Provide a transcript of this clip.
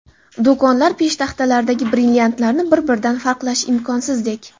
Do‘konlar peshtaxtalaridagi brilliantlarni bir-biridan farqlash imkonsizdek.